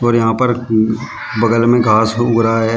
यहां पर बगल में घास उग रहा है।